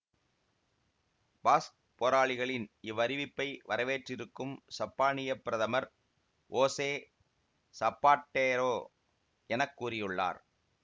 Basque போராளிகளின் இவ்வறிவிப்பை வரவேற்றிருக்கும் சப்பானிய பிரதமர் ஓசே சப்பாட்டெரோ என கூறியுள்ளார்